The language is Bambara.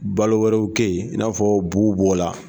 Balo wɛrɛw kɛ ye i n'afɔ b'u b'o la.